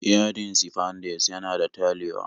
Yadin sifandex yana talewa